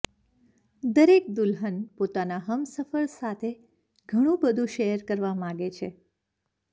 દરેક દુલ્હન પોતાના હમસફર સાથે ઘણું બધુ શેર કરવા માંગે છે